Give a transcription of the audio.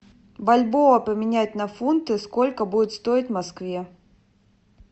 бальбоа поменять на фунты сколько будет стоить в москве